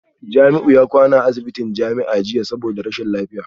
Jamiu ya kwana a asibitin jami'a jiya saboda rashin lafiya